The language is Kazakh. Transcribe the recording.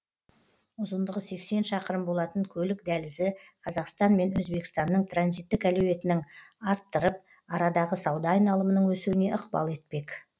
ұзындығы сексен шақырым болатын көлік дәлізі қазақстан мен өзбекстанның транзиттік әлеуетінің арттырып арадағы сауда айналымының өсуіне ықпал етпек